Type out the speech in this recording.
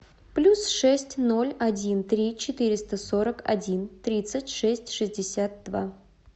плюс шесть ноль один три четыреста сорок один тридцать шесть шестьдесят два